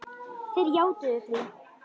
Þeir játuðu því.